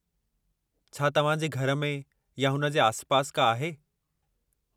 छा तव्हां जे घर में या हुन जे आसिपासि का आहे?